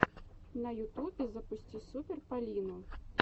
на ютюбе запусти супер полину